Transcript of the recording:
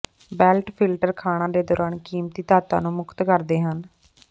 belt filter ਖਾਣਾਂ ਦੇ ਦੌਰਾਨ ਕੀਮਤੀ ਧਾਤਾਂ ਨੂੰ ਮੁਕਤ ਕਰਦੇ ਹਨ